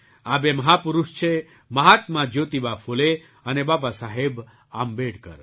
આ બે મહાપુરુષ છે મહાત્મા જ્યોતિબા ફૂલે અને બાબાસાહેબ આંબેડકર